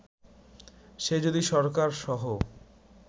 সে যদি সরকার সহ